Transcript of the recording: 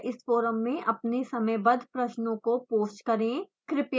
कृपया इस फ़ोरम में अपने समयबद्ध प्रश्नों को पोस्ट करें